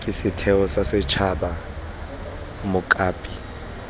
ke setheo sa setshaba mokopi